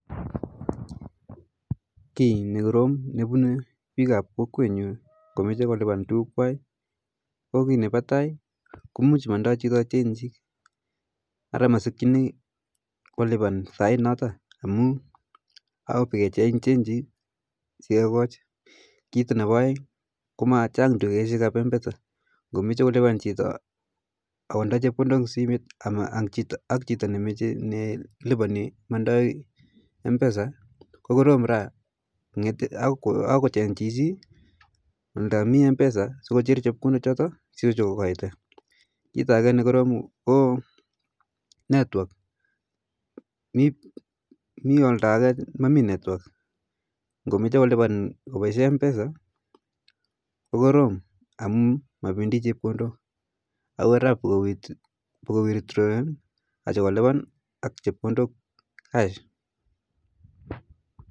Ki ne korom nepune pik ap kokwet nyu komeche kulipan tukuk kwai ko ki nepa tai, ko muj mandoi chito chenjik ara masikchini kolipan sain noto amu ako pokencheng chenjik sikekoj ,kito ne pa aeng ko machang dukaishek ap mpesa komeche kolipan chito akodai chepkondok in simiet ak chito nelipa mandao mpesa ko korom raa, ako kocheng chichi oldo mi mpesa sokocher chepkodok choto sokokoito, kita ake ne korom ko network ,me oldo ake mamii network komeche kolipan kopaishe mpesa ko korom amu mapendi chepkondot akoraa pokowitrawen acho kolipan ak chepkondot cash